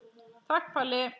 Takk Palli.